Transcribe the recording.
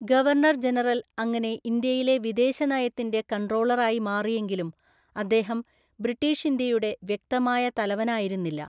Governor general അങ്ങനെ ഇന്ത്യയിലെ വിദേശനയത്തിന്റെ കൺട്രോളറായി മാറിയെങ്കിലും, അദ്ദേഹം ബ്രിട്ടീഷ് ഇന്ത്യയുടെ വ്യക്തമായ തലവനായിരുന്നില്ല.